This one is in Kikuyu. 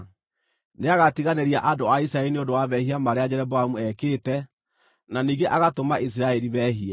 Nĩagatiganĩria andũ a Isiraeli nĩ ũndũ wa mehia marĩa Jeroboamu ekĩte, na ningĩ agatũma Isiraeli meehie.”